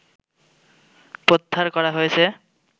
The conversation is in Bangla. প্রত্যাহর করা হয়েছে